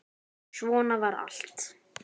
Svona var þetta.